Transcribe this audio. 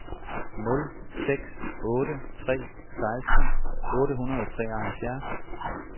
nul seks otte tre seksten otte hundrede og treoghalvfjerds